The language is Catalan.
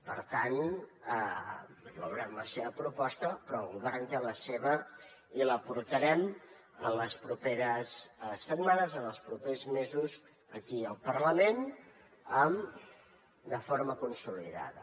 per tant veurem la seva proposta però el govern té la seva i la portarem en les properes setmanes en els propers mesos aquí al parlament de forma consolidada